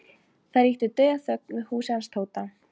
Hann hefur löngum verið beggja handa járn karlinn.